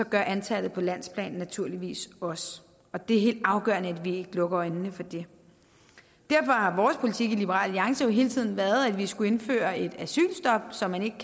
gør antallet på landsplan det naturligvis også og det er helt afgørende at vi ikke lukker øjnene for det derfor har vores politik i liberal alliance hele tiden været at vi skulle indføre et asylstop så man ikke